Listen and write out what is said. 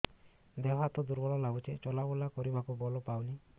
ଦେହ ହାତ ଦୁର୍ବଳ ଲାଗୁଛି ଚଲାବୁଲା କରିବାକୁ ବଳ ପାଉନି